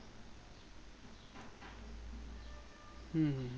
হুম হুম হুম